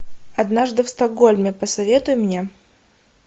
однажды в стокгольме посоветуй мне